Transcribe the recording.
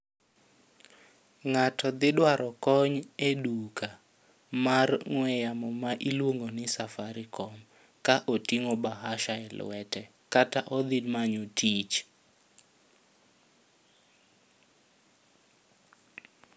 Ng'ato dhi dwaro kony e duka mar ong'we yamo ma iluongo ni safarikom ka otingo bahasha e lwete kata odhi manyo tich